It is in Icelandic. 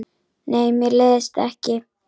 Nei, mér leiðist ekki.